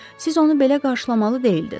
Siz onu belə qarşılamalı deyildiniz.